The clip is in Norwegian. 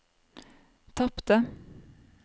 tapte